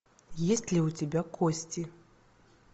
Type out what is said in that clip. есть ли у тебя кости